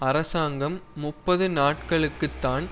அரசாங்கம் முப்பது நாட்களுக்குத்தான்